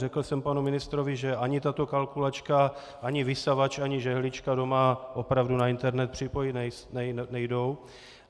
Řekl jsem panu ministrovi, že ani tato kalkulačka, ani vysavač, ani žehlička doma opravdu na internet připojit nejdou.